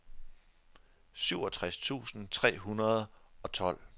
syvogtres tusind tre hundrede og tolv